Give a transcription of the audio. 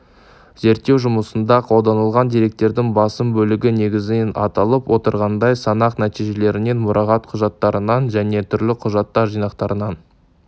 зерттеу жұмысында қолданылған деректердің басым бөлігі негізінен аталып отырғандай санақ нәтижелерінен мұрағат құжаттарынан және түрлі құжаттар жинақтарынан